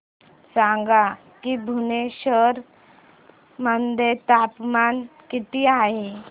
सांगा की भुवनेश्वर मध्ये तापमान किती आहे